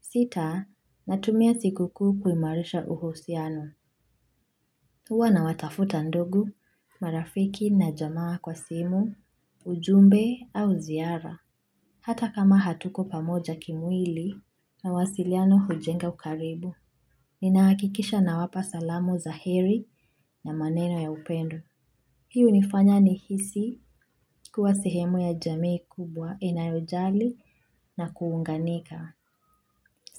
Sita, natumia siku kuu kuimarisha uhusiano. Huwa nawatafuta ndugu, marafiki na jamaa kwa simu, ujumbe au ziara. Hata kama hatuko pamoja kimwili mawasiliano hujenga ukaribu. Nina hakikisha nawapa salamu za heri na maneno ya upendo. Hii hunifanya nihisi kuwa sehemu ya jamii kubwa inayojali na kuunganika.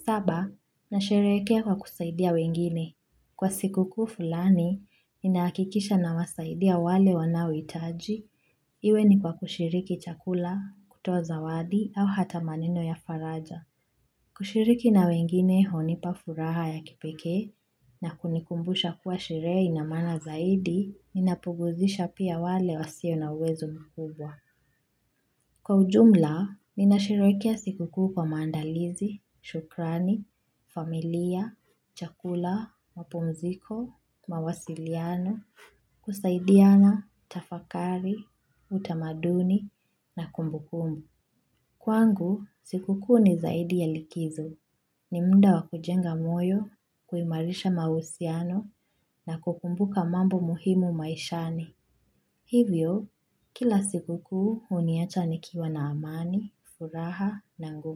Saba, nasherehekea kwa kusaidia wengine. Kwa siku kuu fulani, ninakikisha na wasaidia wale wanaohitaji. Iwe ni kwa kushiriki chakula, kutoa zawadi au hata maneno ya faraja. Kushiriki na wengine hunipa furaha ya kipekee na kunikumbusha kuwa sherehe ina maana zaidi, ninapuguzisha pia wale wasio na uwezo mkubwa. Kwa ujumla, ninasherehekea siku kuu kwa mandalizi, shukrani, familia, chakula, mapumziko, mawasiliano, kusaidiana, tafakari, utamaduni, na kumbukumbu. Kwangu, siku kuu ni zaidi ya likizo. Ni muda wa kujenga moyo, kuimarisha mahusiano, na kukumbuka mambo muhimu maishani. Hivyo, kila siku kuhuniacha nikiwa na amani, furaha na nguvu.